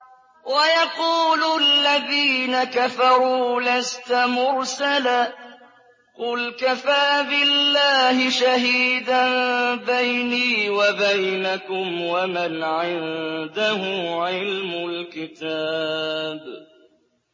وَيَقُولُ الَّذِينَ كَفَرُوا لَسْتَ مُرْسَلًا ۚ قُلْ كَفَىٰ بِاللَّهِ شَهِيدًا بَيْنِي وَبَيْنَكُمْ وَمَنْ عِندَهُ عِلْمُ الْكِتَابِ